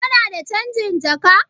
Kana da canjin jaka?